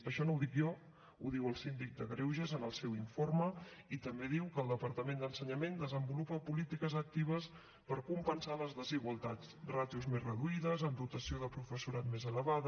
això no ho dic jo ho diu el síndic de greuges en el seu informe i també diu que el departament d’ensenyament desenvolupa polítiques actives per compensar les desigualtats ràtios més reduïdes amb dotació de professorat més elevada